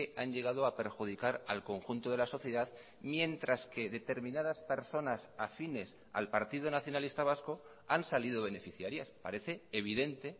han llegado a perjudicar al conjunto de la sociedad mientras que determinadas personas afines al partido nacionalista vasco han salido beneficiarias parece evidente